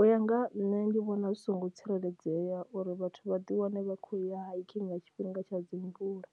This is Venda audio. U ya nga ha nṋe ndi vhona zwi songo tsireledzea uri vhathu vha ḓi wane vha kho ya hikini nga tshifhinga tsha dzimvula,